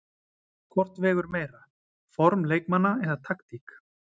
Hvort vegur meira, form leikmanna eða taktík?